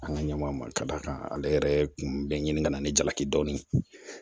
An ka ɲɛmɔgɔ ma ka da kan ale yɛrɛ kun bɛ ɲini kana ni jalaki dɔɔnin